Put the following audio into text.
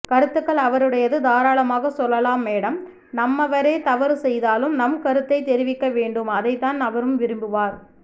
கருத்துக்கள் அவரவருடையது தாராலாமாக சொல்லலாம் மேடம் நம்மவரே தவறு செய்தாலும் நம் கருத்தை தெரிவிக்க வேண்டும் அதைத்தான் அவரும் விரும்புவார்